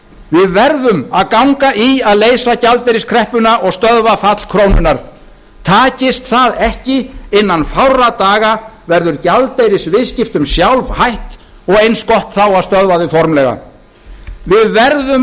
við verðum að ganga í að leysa gjaldeyriskreppuna og stöðva fall krónunnar takast það ekki innan fárra daga verður gjaldeyrisviðskiptum sjálfhætt og eins gott þá að stöðva þau formlega við verðum